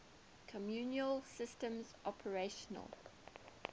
communication systems operational